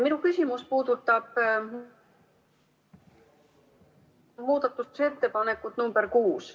Minu küsimus puudutab muudatusettepanekut nr 6.